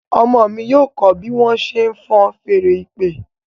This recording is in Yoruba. Ọmọ mí yíò kọ bí wón ṣe fọ́n Fèèrè ìpè.